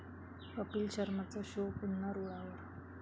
कपिल शर्माचा शो पुन्हा रुळावर